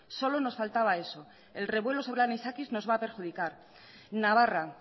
solo nos faltaba eso el revuelo sobre anisakis nos va a perjudicar navarra